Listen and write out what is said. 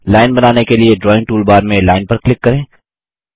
line बनाने के लिए ड्राइंग टूलबार में लाइन पर क्लिक करें